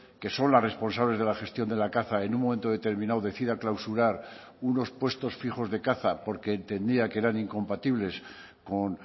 que son las responsables de la gestión de la caza en un momento determinado decida clausurar unos puestos fijos de caza porque entendía que eran incompatibles con